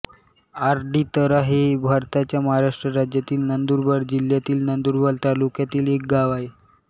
आरडीतरा हे भारताच्या महाराष्ट्र राज्यातील नंदुरबार जिल्ह्यातील नंदुरबार तालुक्यातील एक गाव आहे